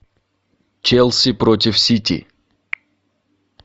челси против сити